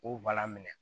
O minɛ